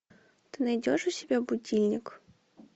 ты найдешь у себя будильник